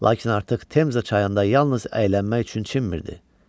Lakin artıq Temza çayında yalnız əylənmək üçün çimmirdi.